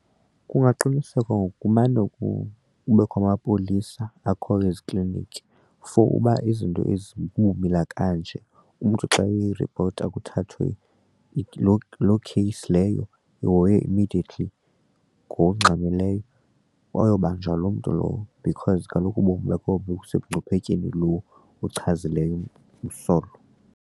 Kungaqinisekwa ngokumane kubekho amapolisa akhoyo ezikliniki for uba izinto ezibumila kanje umntu xa eripota kuthathwe loo lokheyisi leyo ihoywe immediately ngokungxamileyo ayobanjwa loo mntu lowo because kaloku ubomi bakho busemngciphekweni lowo umchazileyo umsolwa.